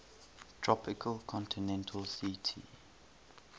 tropical continental ct